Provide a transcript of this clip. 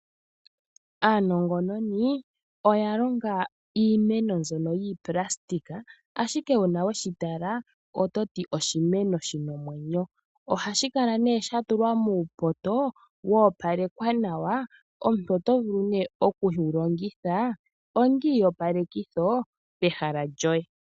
Aanongononi oya longa iimeno mbyono yiipulastika, ashike uuna weshi tala ototi oshimeno shina omwenyo. Ohashi kala nee sha tulwa muupoto wa opalekwa nawa. Omuntu oto vulu nee oku shi longitha onga iiyopalekitho pehala lyoye.